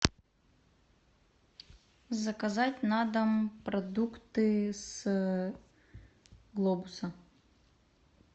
заказать на дом продукты с глобуса